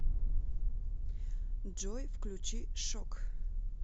джой включи шок